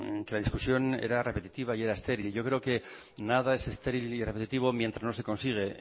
la discusión era repetitiva y era estéril yo creo que nada es estéril y repetitivo mientras no se consigue